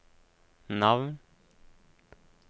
navn